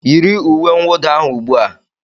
Yiri uwe mwuda ahụ ubua.